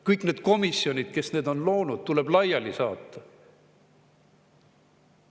Kõik need komisjonid, kes need on loonud, tuleb laiali saata.